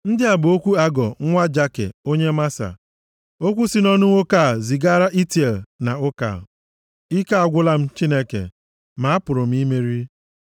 Ndị a bụ okwu Agọ, nwa Jake, onye Masa, Okwu si nʼọnụ nwoke a zigaara Itiel na Ukal: “Ike agwụla m, Chineke ma a pụrụ imeri.